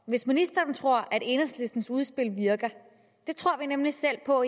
hvis ministeren tror at enhedslistens udspil virker det tror vi nemlig selv på